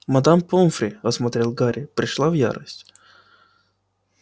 мадам помфри осмотрев гарри пришла в ярость